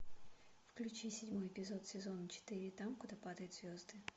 включи седьмой эпизод сезона четыре там куда падают звезды